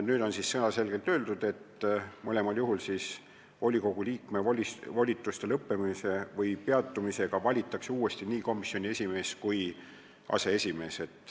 Nüüd on selge sõnaga öeldud, et mõlemal juhul volikogu liikme volituste lõppemise või peatumise puhul valitakse uuesti nii komisjoni esimees kui ka aseesimees.